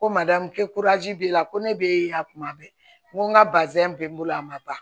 Ko madamu kɛ b'i la ko ne be yan kuma bɛɛ n ko n ka bazɛn be n bolo a ma ban